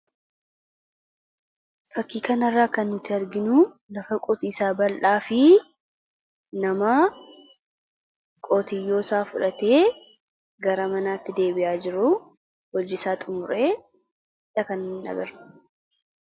Fakkii kana irraa kan nuti arginu lafa qonnaa bal'aa fi nama meeshaa qonnaa baatee deemaa jiruu dha.